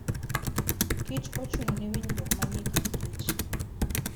Kich ochung'ne winjruok manie kind Kich.